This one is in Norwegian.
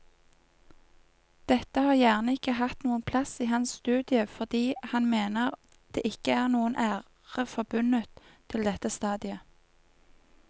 Dette har gjerne ikke hatt noen plass i hans studie fordi han mener det ikke er noen ære forbundet til dette stadiet.